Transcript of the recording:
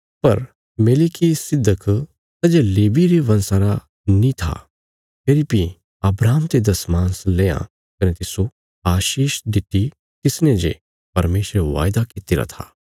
पर मेलिकिसिदक सै जे लेवी रे वंशा रा नीं था फेरी बी अब्राहम ते दशमांश लेआ कने तिस्सो आशीष दित्ति तिसने जे परमेशरे वायदा कित्तिरा था